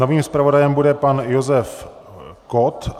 Novým zpravodajem bude pan Josef Kott.